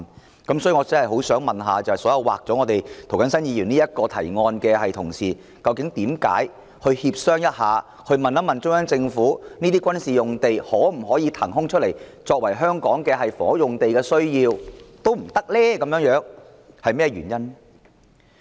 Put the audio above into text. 有鑒於此，我真的很想問所有把涂謹申議員這項提案刪去的同事，究竟為何連展開協商，詢問中央政府可否將這些軍事用地騰出來作為香港的房屋用地亦不可以，原因為何？